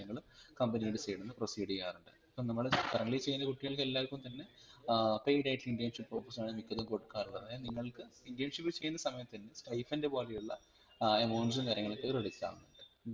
നമ്മൾ company യുടെ side ന്ന് proceed യാറുണ്ട് ഇപ്പം നമ്മൾ currently ചെയ്യുന്ന കുട്ടികൾ എല്ലാവര്ക്കും തന്നെ ഏർ paid ആയിട്ട് internship ഉം മിക്കവർക്കും കൊടുക്കാറുള്ളത് അതായത് നിങ്ങൾക് internship ചെയുന്ന സമയത് തന്നെ stipend പോലെയുള്ള ഏർ amounts ഉം കാര്യങ്ങൾ ഒക്കെ credit ആവുന്നുണ്ട്